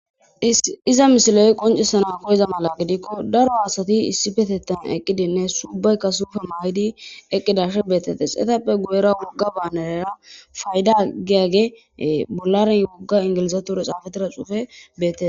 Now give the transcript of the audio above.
Iza misiley qoncisana koyeza mala gidikko daro haasati issi petettan eqqidinne subaykka suufe may'idi eqqidash beetettes etappe guyera wogga baanerera fayda giyage bolaren yogga ingilizature xaafatira xuufe beette.